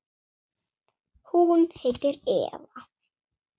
Hún heitir Eva.